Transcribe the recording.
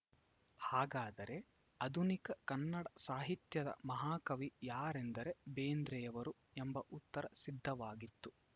ಹಾಗಾದರೆ ಆಧುನಿಕ ಕನ್ನಡ ಸಾಹಿತ್ಯದ ಮಹಾಕವಿ ಯಾರೆಂದರೆ ಬೇಂದ್ರೆಯವರು ಎಂಬ ಉತ್ತರ ಸಿದ್ಧವಾಗಿತ್ತು